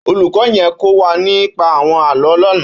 Ólúkò yèn kò wà nípà áwòn àlõ lànã